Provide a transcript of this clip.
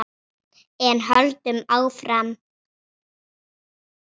En höldum áfram